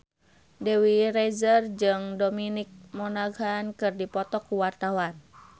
Dewi Rezer jeung Dominic Monaghan keur dipoto ku wartawan